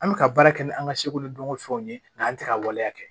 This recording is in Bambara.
An bɛ ka baara kɛ ni an ka seko ni dɔnko fɛnw ye n'an tɛ ka waleya kɛ